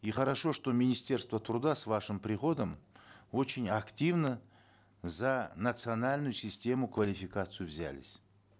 и хорошо что министерство труда с вашим приходом очень активно за национальную систему квалификации взялись